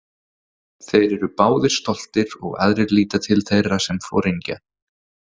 Þeir eru báðir stoltir og aðrir líta til þeirra sem foringja.